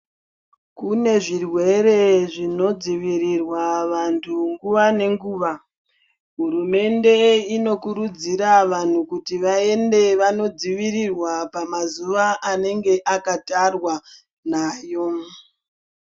Kune zvirwere zvinodzivirirwa vantu nguva nenguva. Hurumende inokurudzira vanhu kuti vaende vanodzivirirwa pamazuva anenge akatarwa nayo